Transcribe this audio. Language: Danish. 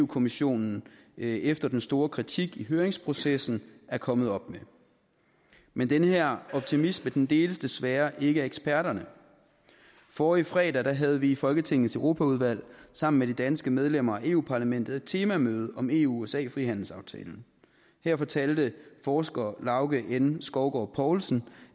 kommissionen efter den store kritik i høringsprocessen er kommet op med men den her optimisme deles desværre ikke af eksperterne forrige fredag havde vi i folketingets europaudvalg sammen med de danske medlemmer af eu parlamentet et temamøde om eu usa frihandelsaftalen her fortalte forsker lauge n skovgaard poulsen